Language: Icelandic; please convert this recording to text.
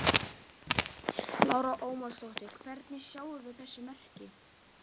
Lára Ómarsdóttir: Hvernig sjáum við þess merki?